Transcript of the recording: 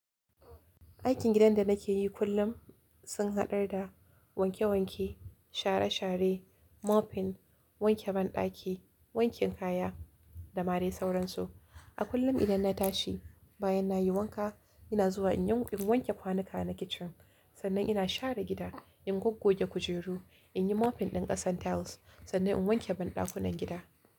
Aikin gidan da nake yi kullum sun haɗar da wanke-wanke, share-share, mopping, wanke banɗaki, wanke kaya da ma dai sauransu. A kullum idan na tashi bayan na yi wanka ina zuwa in wanke kwanuka na kitchen, sannan ina share gida, in gogge kujeru, in yi mopping ɗin ƙasan tiles sannan in wanke banɗakunan gida.